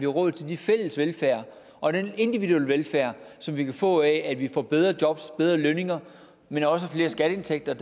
råd til den fælles velfærd og den individuelle velfærd som vi kan få af at vi får bedre jobs bedre lønninger men også flere skatteindtægter